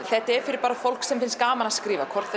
þetta er fyrir bara fólk sem finnst gaman að skrifa hvort